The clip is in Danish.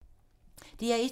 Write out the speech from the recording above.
DR1